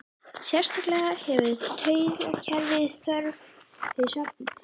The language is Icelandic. Sérstaklega hefur taugakerfið þörf fyrir svefninn.